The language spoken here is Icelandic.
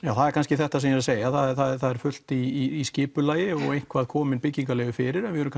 það er kannski þetta sem ég er að segja að það er fullt í skipulagi og eitthvað komið byggingarleyfi fyrir en við erum